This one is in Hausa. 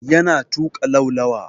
Yana tuƙa laulawa.